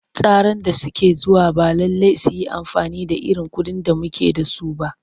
Tsaran da ke zuwa ba lallai su yi amfani da irin kuɗin da muke da su ba.